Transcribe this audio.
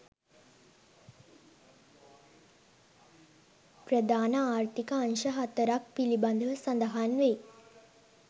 ප්‍රධාන ආර්ථික අංශ හතරක් පිළිබඳව සඳහන් වෙයි.